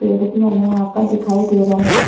पेड़ भी हमे यहाँ पर दिखाई दे रहे--